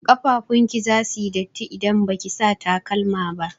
Ƙafafun ki zasu yi datti idan baki sa takalma ba.